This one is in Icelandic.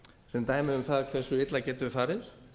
sem dæmi um það hversu illa getur farið